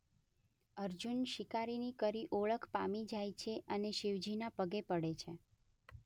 અર્જુન શિકારીની ઓળખ પામી જાય છે અને શિવજી ના પગે પડે છે.